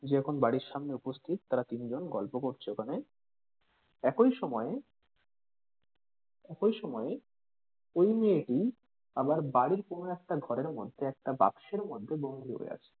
যে এখন বাড়ির সামনে উপস্থিত তারা তিন জন গল্প করছে ওখানে একই সময়ে একই সময়ে ওই মেয়েটি আবার বাড়ির কোনো একটা ঘরের মধ্যে কোনো একটা বাক্সের মধ্যে বন্দি হয়ে আছে.